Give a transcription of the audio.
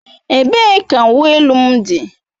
Ebee ka uwe elu m dị?